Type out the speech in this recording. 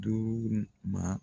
Duuru ma.